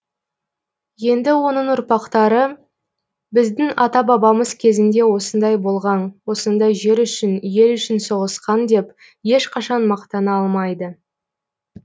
енді оның ұрпақтары біздің ата бабамыз кезінде осындай болған осындай жер үшін ел үшін соғысқан деп ешқашан мақтана алмайды